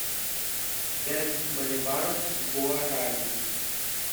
пять боливаров в гуарани